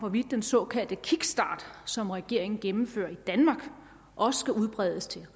hvorvidt den såkaldte kickstart som regeringen gennemfører i danmark også skal udbredes til